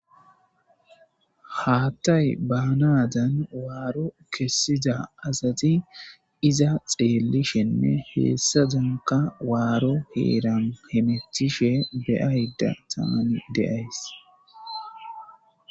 haattay baanadan waaro kessida asati iza xeeli shenne heessa danka waaro heeran hemethishe beyayda taani deays